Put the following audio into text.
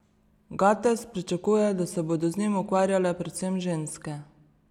Gates pričakuje, da se bodo z njimi ukvarjale predvsem ženske.